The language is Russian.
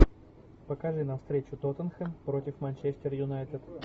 покажи нам встречу тоттенхэм против манчестер юнайтед